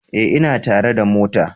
Ee, ina tare da mota